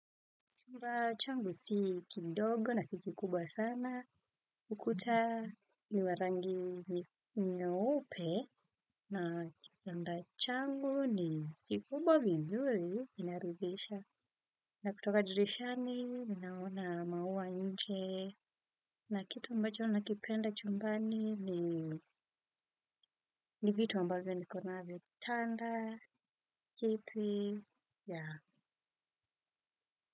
Chumba changu si kidogo na si kikubwa sana ukuta ni wa rangi nyeupe na kitanda changu ni kikubwa vizuri inaridhisha na kutoka dirishani mimi naona maua nje na kitu ambacho nakipenda chumbani ni vitu ambavyo nikonavyo kitanda kitu ya.